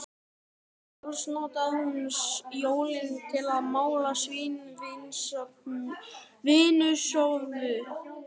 Sjálf notar hún jólin til að mála sína vinnustofu.